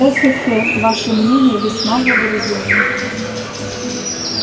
э-хе-хе ваше мнение весьма благоразумно